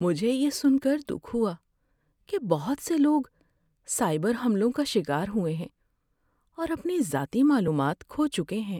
مجھے یہ سن کر دکھ ہوا کہ بہت سے لوگ سائبر حملوں کا شکار ہوئے ہیں اور اپنی ذاتی معلومات کھو چکے ہیں۔